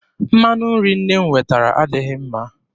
Mmanụ nri nne m wetara adịghị mma.